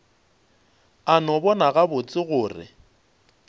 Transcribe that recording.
a no bona gabotse gore